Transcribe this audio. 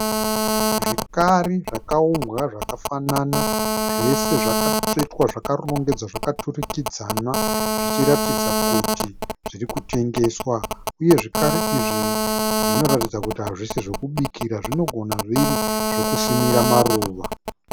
Zvikari zvakaumbwa zvakafanana. Zvese zvakatsvetwa zvakarongedzwa zvakaturikidzana zvichiratidza kuti zviri kutengeswa, uye zvikari izvi zvinoratidza kuti hazvisi zvokubikira zvinogona zviri zvokusimira maruva.